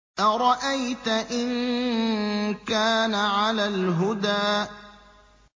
أَرَأَيْتَ إِن كَانَ عَلَى الْهُدَىٰ